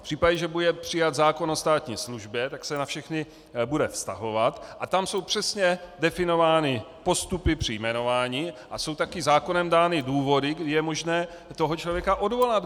V případě, že bude přijat zákon o státní službě, tak se na všechny bude vztahovat, a tam jsou přesně definovány postupy při jmenování a jsou taky zákonem dány důvody, kdy je možné toho člověka odvolat.